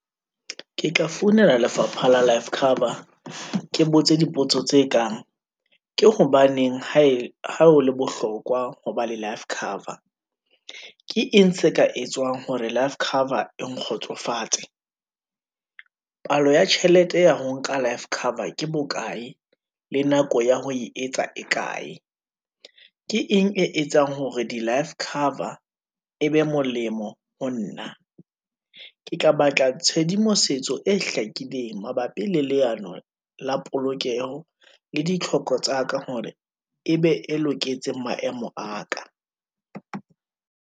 Ke ka founela lefapha la life cover, ke botse dipotso tse kang, ke hobaneng ha ho le bohlokwa ho ba le life cover? Ke eng se ka etswang hore life cover e nkgotsofatse? Palo ya tjhelete ya ho nka life cover ke bokae, le nako ya ho e etsa e kae? Ke eng e etsang hore di-life cover e be molemo ho nna? Ke ka batla tshedimosetso e hlakileng, mabapi le leano la polokeho, le ditlhoko tsa ka hore e be e loketseng maemo a ka.